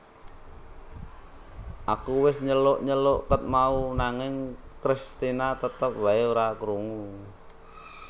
Aku wes nyeluk nyeluk ket mau nanging Kristina tetep wae ra krungu